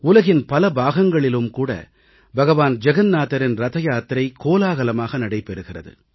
உலகின் பல பாகங்களிலும் கூட பகவான் ஜகன்நாதரின் ரதயாத்திரை கோலாகலமாக நடைபெறுகிறது